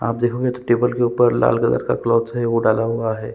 आप देखोगे तो टेबल के ऊपर लाल कलर का क्लॉथ है वो डाला हुआ हैं।